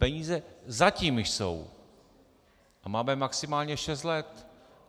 Peníze zatím jsou a máme maximálně šest let.